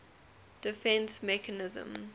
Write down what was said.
defence mechanism